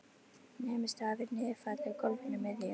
Nemur staðar við niðurfallið á gólfinu miðju.